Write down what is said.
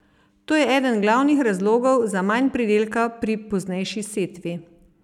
To je eden glavnih razlogov za manj pridelka pri poznejši setvi.